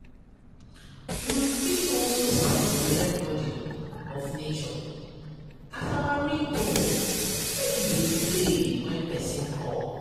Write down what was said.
We fit also set the recording of nature as our ringtone make e dey play when persin call